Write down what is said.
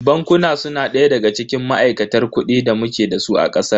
Bankuna su na daya daga cikin ma'aikatar kuɗi da muke dasu a ƙasar.